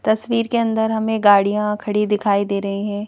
तस्वीर के अंदर हमें गाड़ियां खड़ी दिखाई दे रही हैं।